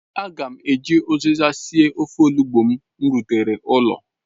Aga m eji uziza sie ofe ozugbo m rutere ụlọ